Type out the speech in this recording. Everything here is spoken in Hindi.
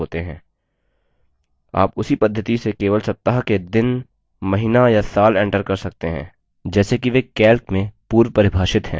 आप उसी पद्धति से केवल सप्ताह के दिन महीना या साल enter कर सकते हैं जैसे कि वे calc में पूर्वपरिभाषित हैं